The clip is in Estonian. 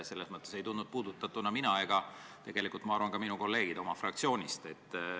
Ei tundnud end puudutatuna mina ja ma arvan, et ka minu kolleegid meie fraktsioonist.